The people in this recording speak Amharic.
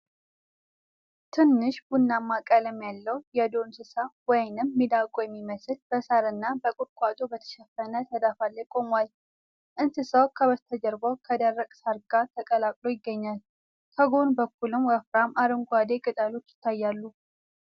ትንሽ ቡናማ ቀለም ያለው የዱር እንስሳ (ሚዳቋ የሚመስል) በሳርና በቁጥቋጦ በተሸፈነ ተዳፋት ላይ ቆሟል። እንስሳው ከበስተጀርባው ከደረቅ ሳር ጋር ተቀላቅሎ ይገኛል፤ ከጎን በኩልም ወፍራም አረንጓዴ ቅጠሎች ይታያሉ።